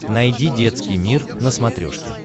найди детский мир на смотрешке